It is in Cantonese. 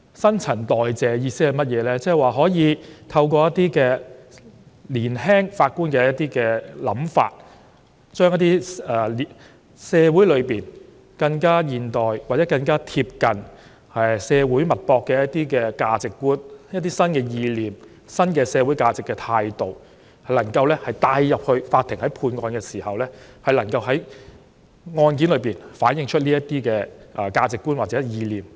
新陳代謝的意思是透過年輕法官的想法，將一些更現代、更貼近社會脈搏的價值觀，以及一些新意念和新的社會價值態度帶進法院，讓法官在審理案件時，可以反映這些價值觀和意念。